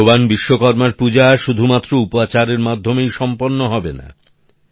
ভগবান বিশ্বকর্মার পূজা শুধুমাত্র উপাচারের মাধ্যমেই সম্পন্ন হবেনা